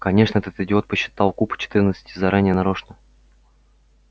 конечно этот идиот подсчитал куб четырнадцати заранее нарочно